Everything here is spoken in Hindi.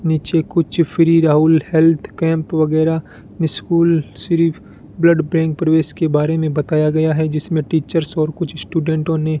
नीचे कुछ फ्री राहुल हेल्थ कैंप वगैरह नि स्कूल सिर्फ ब्लड बैंक प्रवेश के बारे में बताया गया है जिसमें टीचर्स और कुछ स्टूडेंटों ने --